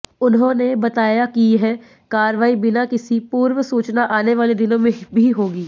उन्होंने बताया कि यह कार्रवाई बिना किसी पूर्व सूचना आने वाले दिनों में भी होगी